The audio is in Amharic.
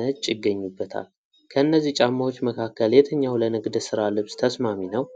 ነጭ ይገኙበታል። ከእነዚህ ጫማዎች መካከል የትኛው ለንግድ ስራ ልብስ ተስማሚ ነው?